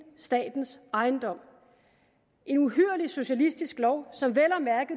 statens ejendom en uhyrlig socialistisk lov som